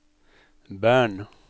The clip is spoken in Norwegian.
Bern